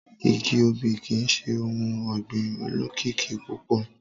Igi obì kii ṣe ohun ọgbin olokiki pupọ.